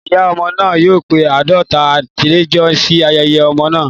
Ìyá ọmọ náà yóò pe àádọ́ta àlejò sí ayẹyẹ ọmọ náà.